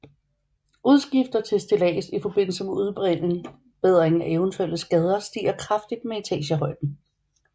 Udgifter til stillads i forbindelse med udbedring af eventuelle skader stiger kraftigt med etagehøjden